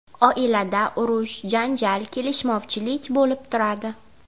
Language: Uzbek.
Oilada urush, janjal, kelishmovchilik bo‘lib turadi.